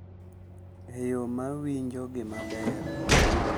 E yo ma winjo gi maber .